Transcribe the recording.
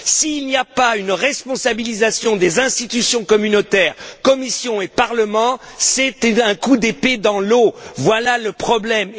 S'il n'y a pas une responsabilisation des institutions communautaires, Commission et Parlement, c'est un coup d'épée dans l'eau voilà le problème.